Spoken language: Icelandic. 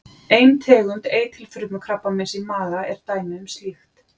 Ein tegund eitilfrumukrabbameins í maga er dæmi um slíkt.